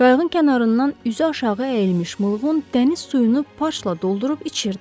Qayığın kənarından üzü aşağı əyilmiş Mılğun dəniz suyunu parçla doldurub içirdi.